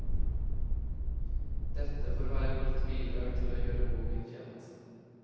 Dette får være mitt bidrag til å gjøre boken kjent.